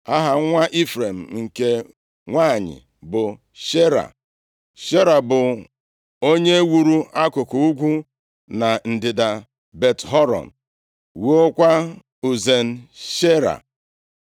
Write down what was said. Aha nwa Ifrem nke nwanyị bụ Sheera. Sheera bụ onye wuru akụkụ ugwu na ndịda Bet-Horon, wuokwa Uzen-Sheera.